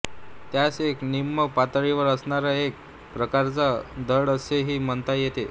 त्यास एक निम्न पातळीवर असणारा एक प्रकारचा ढग असेही म्हणता येते